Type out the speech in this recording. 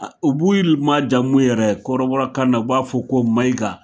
u b'u il majamu yɛrɛ kɔrɔbɔrɔkan na u b'a fɔ ko Maiga